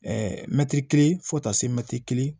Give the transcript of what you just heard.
mɛtiri kelen fo ka taa se mɛtiri